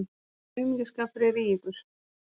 Hvaða aumingjaskapur er í ykkur!